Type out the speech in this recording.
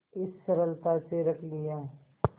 इस सरलता से रख लिया